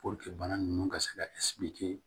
bana ninnu ka se ka